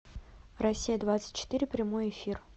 россия двадцать четыре прямой эфир